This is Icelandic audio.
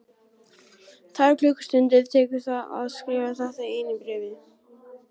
Tvær klukkustundir tekur að skrifa þetta eina bréf.